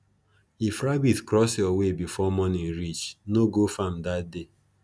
if rabbit cross your way before morning reach no go farm dat day